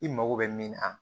I mago bɛ min na